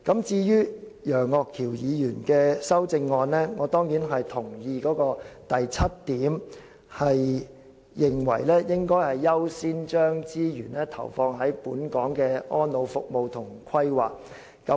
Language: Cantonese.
至於楊岳橋議員的修正案，我當然同意當中第七點所指，當局"應考慮先將資源投放於本港的安老服務及規劃"。